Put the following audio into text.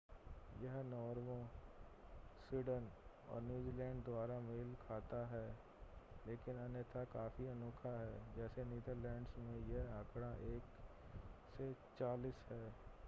यह Norway Sweden और New Zealand द्वारा मेल खाता है लेकिन अन्यथा काफी अनोखा है जैसे नैदरलैंड्स में यह आंकड़ा एक से चालीस है।